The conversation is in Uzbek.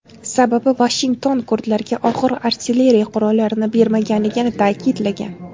Sababi Vashington kurdlarga og‘ir artilleriya qurollarini bermaganligini ta’kidlagan.